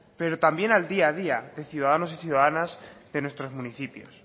pero también al día a día de ciudadanos y ciudadanas de nuestros municipios